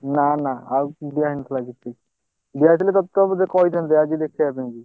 ନା ନା ଆଉ କିଛି ଦିଆହେଇନଥିଲା କିଛି ଦିଆହେଇଥିଲେ ତତେ ତ ମୁଁ କହିଥାନ୍ତି ଆଜି ଦେଖେଇଆପାଇଁ କି।